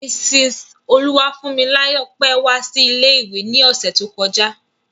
Mrs Oluwafunmilayo pẹ́ wá sí ilé ìwé ni ọ̀sẹ̀ ti o kọjá.